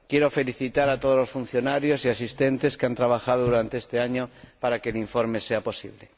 Quiero felicitar a todos los funcionarios y asistentes que han trabajado durante este año para que el informe sea posible.